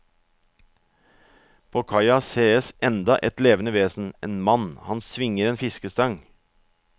På kaia sees enda et levende vesen, en mann, han svinger en fiskestang.